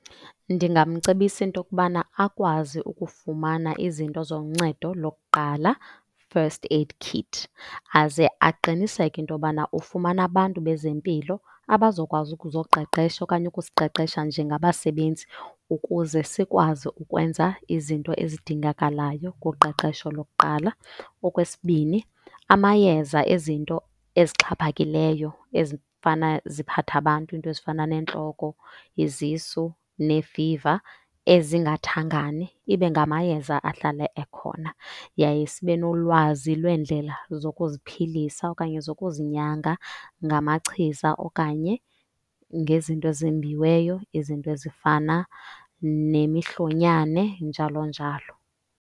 Ndingamcebisa into yokubana akwazi ukufumana izinto zoncedo lokuqala, first aid kit. Aze aqiniseke into yobana ufumana abantu bezempilo abazokwazi ukuzoqeqesha okanye ukusiqeqesha njengabasebenzi ukuze sikwazi ukwenza izinto ezidingakalayo kuqeqesho lokuqala. Okwesibini, amayeza ezinto ezixhaphakileyo ezifana ziphathe abantu, iinto ezifana neentloko, izisu neefiva ezingathangani, ibe ngamayeza ahlala ekhona. Yaye sibe nolwazi lweendlela zokuziphilisa okanye zokuzinyanga ngamachiza okanye ngezinto ezembiweyo, izinto ezifana nemihlonyane, njalo njalo.